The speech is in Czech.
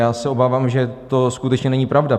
Já se obávám, že to skutečně není pravda.